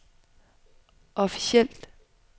officielt